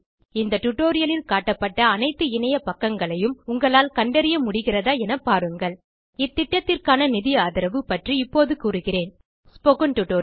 இந்த டியூட்டோரியல் லில் காட்டப்பட்ட அனைத்து இணைய பக்கங்களையும் உங்களால் கண்டறிய முடிகிறதா என பாருங்கள் இத்திட்டத்திற்கான நிதி ஆதரவு பற்றி இப்போது கூறுகிறேன் ஸ்போக்கன் டியூட்டோரியல்